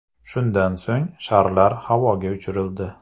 Shundan so‘ng sharlar havoga uchirildi.